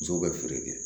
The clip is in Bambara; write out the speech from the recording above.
Muso bɛ feere kɛ